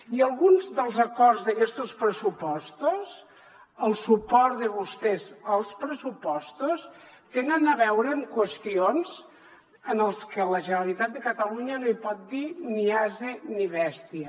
i alguns dels acords d’aquestos pressupostos el suport de vostès als pressupostos tenen a veure amb qüestions en les que la generalitat de catalunya no hi pot dir ni ase ni bèstia